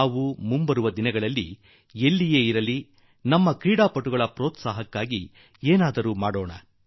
ನಾವೂ ಕೂಡಾ ಬರುವ ದಿನಗಳಲ್ಲಿ ಎಲ್ಲೇ ಇರಲಿ ನಮ್ಮ ಕ್ರೀಡಾಪಟುಗಳಿಗೆ ಪೆÇ್ರೀತ್ಸಾಹ ನೀಡುವ ಸಲುವಾಗಿ ಏನನ್ನಾದರೂ ಮಾಡುತ್ತಿರೋಣ